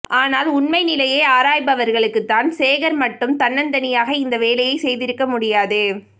ஆனால் உண்மை நிலையை ஆராய்பவர்களுக்கு தான் சேகர் மட்டும் தன்னைந்தனியாக இந்த வேலையை செய்திருக்க முடியாது